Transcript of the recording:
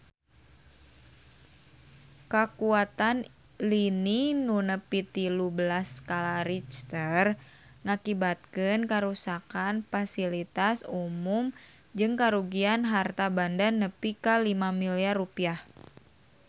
Kakuatan lini nu nepi tilu belas skala Richter ngakibatkeun karuksakan pasilitas umum jeung karugian harta banda nepi ka 5 miliar rupiah